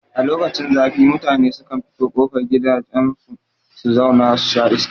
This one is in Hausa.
A lokacin zafi mutane sukan fito kofar gidajen su su zau na susha iska